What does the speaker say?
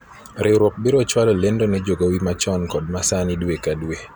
riwruok biro chwalo lendo ne jogowi machon kod ma sani dwe ka dwe